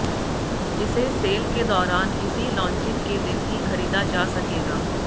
इसे सेल के दौरान इसी लॉन्चिंग के दिन ही खरीदा जा सकेगा